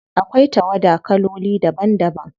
Akwai tawada kaloli daban daban.